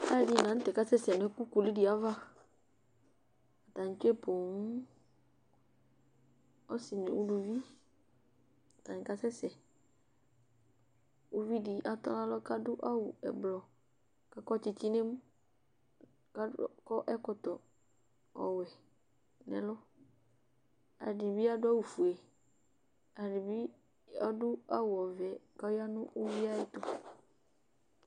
Alʋɛdɩnɩ la nʋ tɛ kasɛsɛ nʋ ɛkʋ kulu dɩ ava Atanɩ tsue poo ɔsɩ nʋ uluvi, atanɩ kasɛsɛ Uvi dɩ adʋ nʋ alɔ kʋ adʋ awʋ ɛblɔ kʋ akɔ tsɩtsɩ nʋ emu kʋ ad akɔ ɛkɔtɔ ɔwɛ nʋ ɛlʋ, alʋɛdɩnɩ bɩ adʋ awʋfue, alʋɛdɩnɩ bɩ adʋ awʋ ɔvɛ kʋ ɔya nʋ uvi yɛ ayɛtʋ